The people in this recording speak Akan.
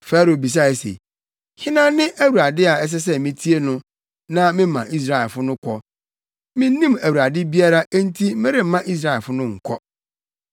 Farao bisae se, “Hena ne Awurade a ɛsɛ sɛ mitie no na mema Israelfo no kɔ? Minnim Awurade biara enti meremma Israelfo no nkɔ.”